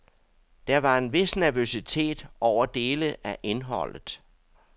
Der var en vis nervøsitet over dele af indholdet.